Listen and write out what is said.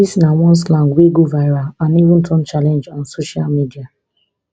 dis na one slang wey go viral and even turn challenge on social media